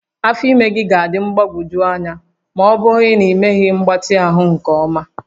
Afọ ime gị ga-adị mgbagwoju anya ma ọ bụrụ na ịmeghị mgbatị ahụ nke ọma